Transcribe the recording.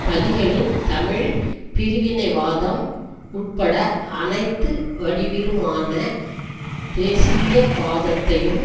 பலிகளின் தமிழ் பிரிவினைவாதம் உட்பட அனைத்து வடிவிலுமான தேசியவாதத்தையும்